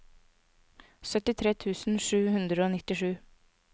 syttitre tusen sju hundre og nittisju